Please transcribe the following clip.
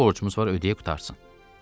Nə borcumuz var ödəyə qurtarsın.